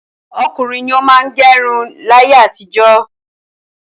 Ọkùnrin ni ó má ń gẹ irun láyé àtijọ́.